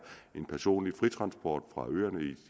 en personlig fritransport fra